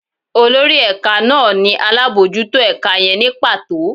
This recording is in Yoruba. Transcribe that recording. Olorí ẹka naa ni alabọjuto ẹka yẹn nī pato